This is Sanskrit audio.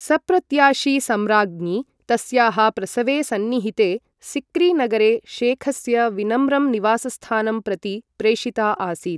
सप्रत्याशी सम्राज्ञी तस्याः प्रसवे सन्निहिते, सिक्री नगरे शेखस्य विनम्रं निवासस्थानं प्रति प्रेषिता आसीत्।